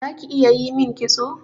Zaki iya yimin kitso?